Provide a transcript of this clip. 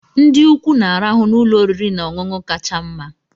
Ndị ukwu na-arahụ n'ụlọ oriri na ọṅụṅụ kacha mma.